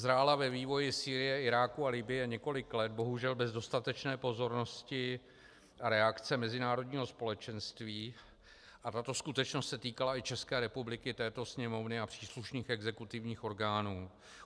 Zrála ve vývoji Sýrie, Iráku a Libye několik let, bohužel bez dostatečné pozornosti a reakce mezinárodního společenství, a tato skutečnost se týkala i České republiky, této Sněmovny a příslušných exekutivních orgánů.